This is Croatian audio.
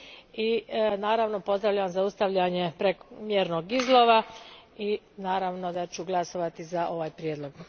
i naravno pozdravljam zaustavljanje prekomjernog izlova i naravno da ću glasovati za ovaj prijedlog.